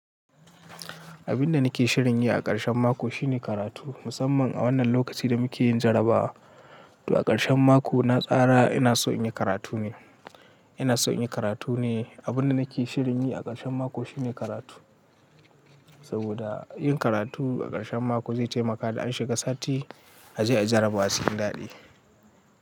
Abin da nake shirin yi a ƙarshen mako shine karatu. Musamman a wannan lokacin da muke yin jarabawa. To a ƙarshen mako na tsara ina so in yi karatu ne. Ina so in yi karatu ne. Abin da nake shirin yi a ƙarshen mako shine karatu. Saboda yin karatu a ƙarshen mako zai taimaka da an shiga sati a je ai jarabawa cikin daɗi.